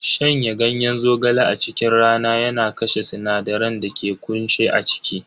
Shanya ganyen zogale a cikin rana yana kashe sinadaran da ke kunshe a ciki.